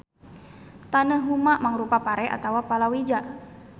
Taneuh huma mangrupa pare atawa palawija.